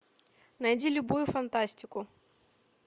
найди любую фантастику